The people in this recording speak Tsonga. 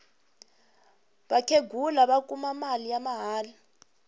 vakhenghula va kuma mali ya mahala